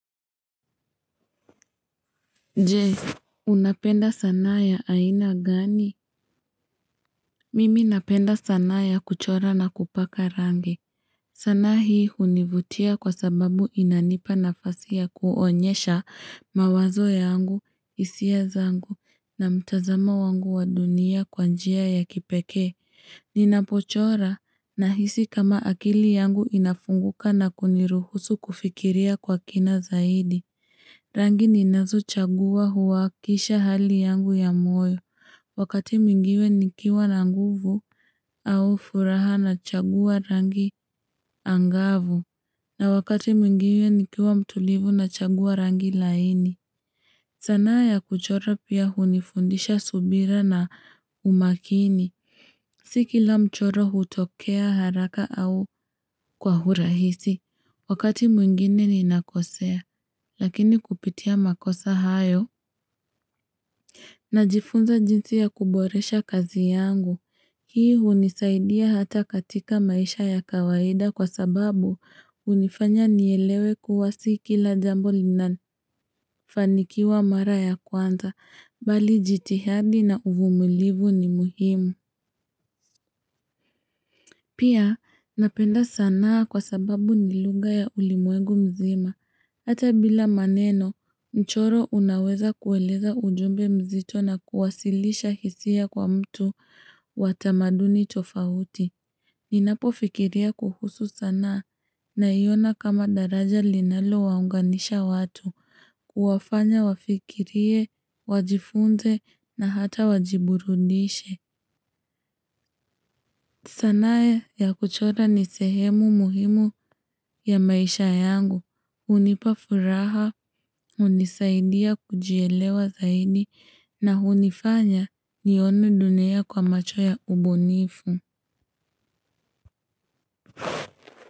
Je, unapenda sanaa ya aina gani? Mimi napenda sanaa ya kuchora na kupaka rangi. Sanaa hii hunivutia kwa sababu inanipa nafasi ya kuonyesha mawazo yangu, hisia zangu na mtazamo wangu wa dunia kwa njia ya kipekee. Ninapochora nahisi kama akili yangu inafunguka na kuniruhusu kufikiria kwa kina zaidi. Rangi ninazo chagua huwaakisha hali yangu ya moyo. Wakati mwingine nikiwa na nguvu au furaha nachagua rangi angavu. Na wakati mingiwe nikiwa mtulivu na chagua rangi laini. Sanaa ya kuchora pia hunifundisha subira na umakini. Si kila mchoro hutokea haraka au kwa urahisi. Wakati mwingine ninakosea, lakini kupitia makosa hayo najifunza jinsi ya kuboresha kazi yangu. Hii hunisaidia hata katika maisha ya kawaida kwa sababu hunifanya nielewe kuwa si kila jambo linafanikiwa mara ya kwanza, mbali jitihadi na uvumulivu ni muhimu. Pia napenda sanaa kwa sababu ni lugha ya ulimwegu mzima. Hata bila maneno, mchoro unaweza kueleza ujumbe mzito na kuwasilisha hisia kwa mtu wa tamaduni tofauti. Ninapofikiria kuhusu sanaa naiona kama daraja linalo waunganisha watu, kuwafanya wafikirie, wajifunze na hata wajiburudishe. Sanaaya kuchora ni sehemu muhimu ya maisha yangu, hunipa furaha, hunisaidia kujielewa zaidi na hunifanya nione dunia kwa macho ya ubunifu.